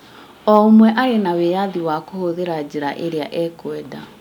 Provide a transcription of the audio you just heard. O ũmwe arĩ na wĩyathi wa kũhũthĩra njĩra ĩrĩa ekwenda